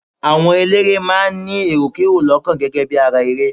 Àwọn eléré máa ń ní èròkerò lọ́kàn gẹ́gẹ́ bí ara ere.